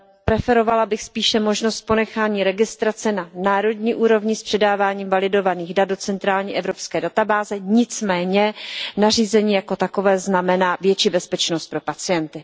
Preferovala bych spíše možnost ponechání registrace na národní úrovni s předáváním validovaných dat do centrální evropské databáze, nicméně nařízení jako takové znamená větší bezpečnost pro pacienty.